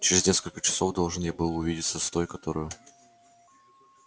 через несколько часов должен я был увидеться с той которую